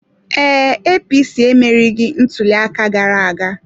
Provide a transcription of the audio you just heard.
Ee, APC emerieghị ntuli aka gara aga.